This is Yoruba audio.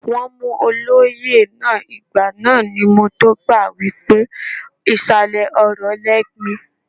Wọ́n mú olóyè náà, ìgbà náà ni mọ tó gbà wípé ìsàlẹ̀ ọrọ̀ lẹ́gbin.